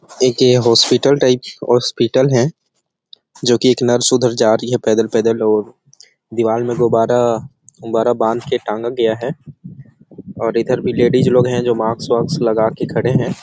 एक ये hospital type hospital है जो की एक नर्स उधर जा रही है पैदल-पैदल और दीवाल में गुब्बारा गुब्बारा बांध के टांगा गया है और इधर भी लेडिस लोग है जो मास्क वास्क लगा के खड़े है।